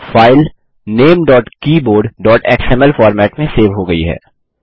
file ltnamegtkeyboardएक्सएमएल format में save हो गयी है